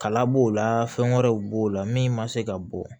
Kala b'o la fɛn wɛrɛw b'o la min ma se ka bɔ